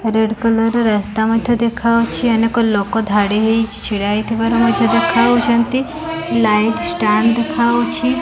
Red colour ର ରାସ୍ତା ମଧ୍ୟ ଦେଖା ଯାଉଛି ଅନେକ ଲୋକ ଧାଡ଼ିହେଇ ଛିଡା ହେଇଥିବାର ମଧ୍ୟ ଦେଖା ଯାଉଛନ୍ତି ଲାଇଟ୍ ଷ୍ଟାଣ୍ଡ ଦେଖାଯାଉଛି।